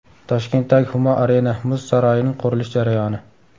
Toshkentdagi Humo Arena muz saroyining qurilish jarayoni.